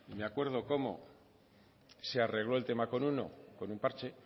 me acuerdo cómo se arregló el tema con uno con un parche